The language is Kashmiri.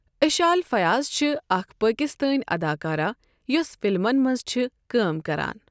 اسشال فیاض چھِ اَکھ پاکِستٲنؠ اَداکارہ یۄس فِلمَن مَنٛز چھِ کٲم کَران۔